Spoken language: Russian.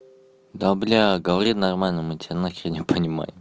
да бля говори нормально мы тебя нахер не понимаем